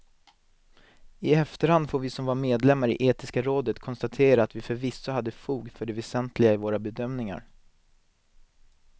I efterhand får vi som var medlemmar i etiska rådet konstatera att vi förvisso hade fog för det väsentliga i våra bedömningar.